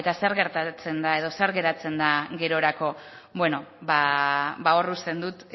zer gertatzen da edo zer geratzen da gerorako hor uzten dut